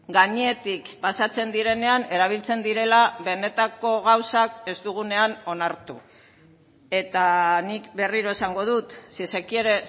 gainetik pasatzen direnean erabiltzen direla benetako gauzak ez dugunean onartu eta nik berriro esango dut si se quiere